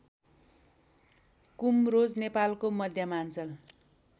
कुमरोज नेपालको मध्यमाञ्चल